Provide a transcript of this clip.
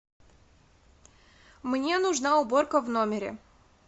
мне нужна уборка в номере